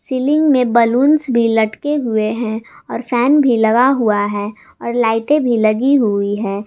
Ceiling में balloons भी लटके हुए हैं और फैन भी लगा हुआ है और लाइटे भी लगी हुई है।